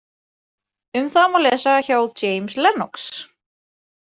Um það má lesa hjá James Lennox.